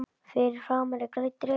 Fyrir framan er grænn dreki.